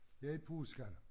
Her i påsken